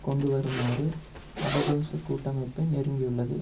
கொண்டு வருமாறு அபதொசகூட்டமைப்பை நெருக்கியுள்ளது